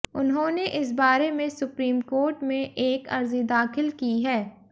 उन्होंने इस बारे में सुप्रीम कोर्ट में एक अर्जी दाखिल की है